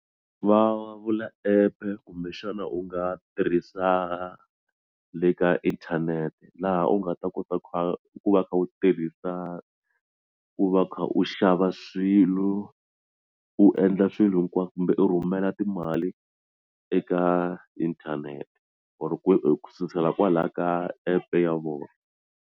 Va vula app-e kumbexana u nga tirhisa le ka inthanete laha u nga ta kota ku kha ku va u kha u tirhisa ku va u kha u xava swilo u endla swilo hinkwaswo kumbe u rhumela timali eka inthanete or ku sukusela kwalaya ka app ya vona.